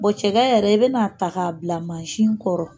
Bɔn cɛkɛ yɛrɛ, i bɛn'a ta k'a bila masin kɔrɔ.